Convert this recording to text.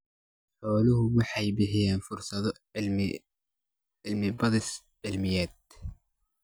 Xooluhu waxay bixiyaan fursado cilmi-baadhis cilmiyeed.